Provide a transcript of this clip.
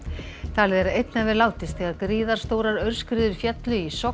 talið er að einn hafi látist þegar gríðarstórar aurskriður féllu í Sogn